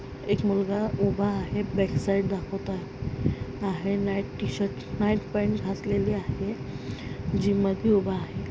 एक मुलगा उभा आहे बॅक साईड दाखवत आहे. नाईट टी-शर्ट नाईट पॅन्ट घातलेली आहे. जिम मध्ये उभा आहे.